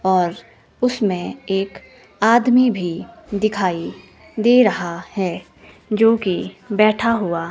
और उसमें एक आदमी भी दिखाई दे रहा है जो की बैठा हुआ--